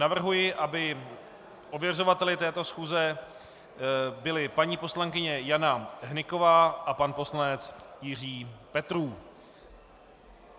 Navrhuji, aby ověřovateli této schůze byli paní poslankyně Jana Hnyková a pan poslanec Jiří Petrů.